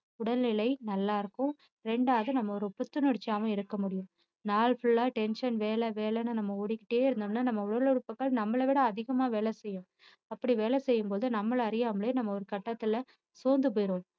உடல்நிலை நல்லா இருக்கும் ரெண்டாவது நம்ம ஒரு புத்துணர்ச்சியாவும் இருக்க முடியும் நாள் full ஆ tension வேலை வேலைன்னு நம்ம ஓடிக்கிட்டே இருந்தோம்னா நம்ம உடலுறுப்புக்கள் நம்மளை விட அதிகமா வேலை செய்யும் அப்படி வேலை செய்யும் போது நம்மளை அறியாமலே நம்ம ஒரு கட்டத்துல சோர்ந்து போயிடுவோம்